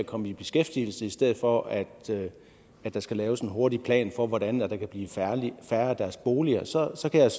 komme i beskæftigelse i stedet for at der skal laves en hurtig plan for hvordan der kan blive færre af deres boliger så så kan jeg